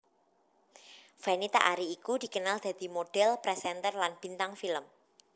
Fenita Arie iku dikenal dadi modhél presenter lan bintang film